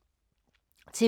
TV 2